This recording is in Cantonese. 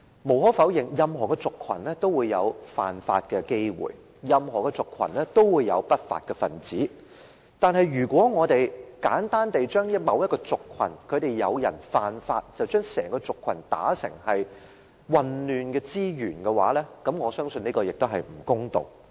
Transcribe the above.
無可否認，任何族群也有犯法的機會，任何族群也有不法分子，但如果我們簡單地因為某個族群有人犯法，便把整個族群說成是混亂之源，我相信這是不公道的。